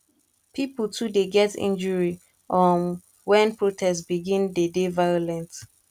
pipo too dey get injury um wen protest begin dey dey violent